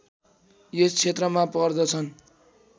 यस क्षेत्रमा पर्दछन्